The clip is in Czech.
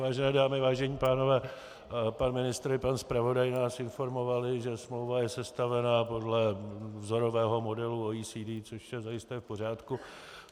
Vážené dámy, vážení pánové, pan ministr i pan zpravodaj nás informovali, že smlouva je sestavena podle vzorového modelu OECD, což je zajisté v pořádku.